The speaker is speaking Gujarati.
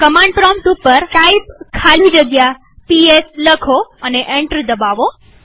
કમાંડ પ્રોમ્પ્ટ ઉપર ટાઇપ ખાલી જગ્યા પીએસ લખો અને એન્ટર દબાવો